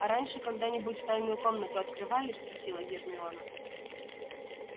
а раньше когда-нибудь тайную комнату открывали спросила гермиона